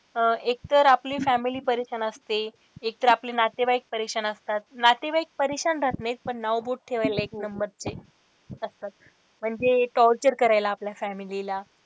अह एकतर आपली family परेशान असते एकतर आपले नातेवाईक परेशान असतात, नातेवाईक परेशान राहत नाहीत पण नाव बोट ठेवायला एक number चे असतात म्हणजे torcher करायला आपल्या family ला.